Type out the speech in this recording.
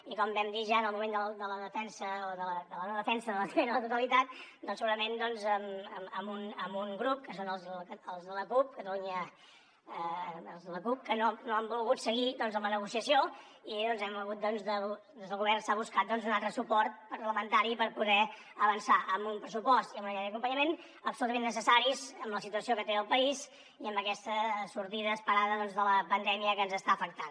i com vam dir ja en el moment de la defensa o de la no defensa de l’esmena a la totalitat segurament amb un grup que són els de la cup que no han volgut seguir amb la negociació i des del govern s’ha buscat un altre suport parlamentari per poder avançar amb un pressupost i amb una llei d’acompanyament absolutament necessaris en la situació que té el país i en aquesta sortida esperada de la pandèmia que ens està afectant